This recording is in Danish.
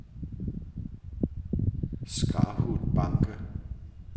Skarhutbanke